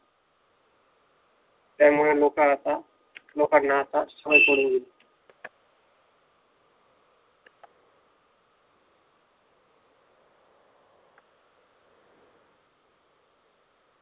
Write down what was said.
त्यामुळे लोक आता लोकांना आता सवय पडून गेली,